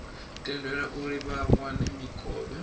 tendelwe uri vha wane mikovhe